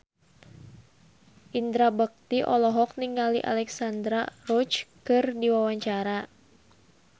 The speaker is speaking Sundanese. Indra Bekti olohok ningali Alexandra Roach keur diwawancara